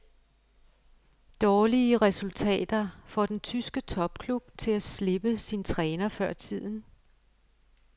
Dårlige resultater får den tyske topklub til at slippe sin træner før tiden.